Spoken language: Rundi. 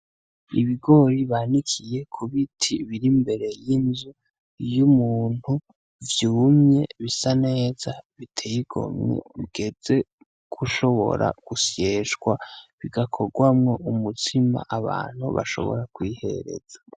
Ibigori bandikiye ku biti biri mbere y'inzu iyo umuntu vyumye bisa neza biteigomwe ugeze gushobora gusyeshwa bigakorwamwo umutsima abantu bashobora kwihereza.